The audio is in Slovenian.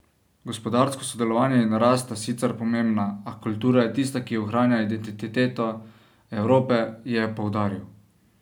Gospodarsko sodelovanje in rast sta sicer pomembna, a kultura je tista, ki ohranja identiteto Evrope, je poudaril.